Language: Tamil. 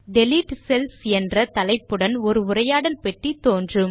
டிலீட் செல்ஸ் என்ற தலைப்புடன் ஒரு உரையாடல் பெட்டி தோன்றும்